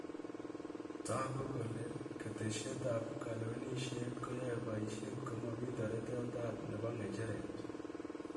Taaku kole ketesyeet ap kalewenisyet koyae paisheet komamii tareteet ap nebo ng'echereet